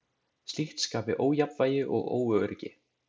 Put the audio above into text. Slíkt skapi ójafnvægi og óöryggi.